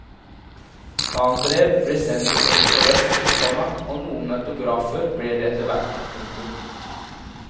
Fan brev ble sendt i øst og vest, komma og noen autografer ble det etterhvert. punktum